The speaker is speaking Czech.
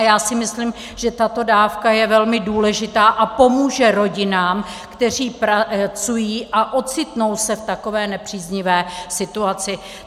A já si myslím, že tato dávka je velmi důležitá a pomůže rodinám, které pracují a ocitnou se v takové nepříznivé situaci.